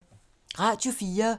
Radio 4